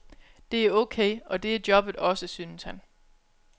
Det er okay, og det er jobbet også, synes han.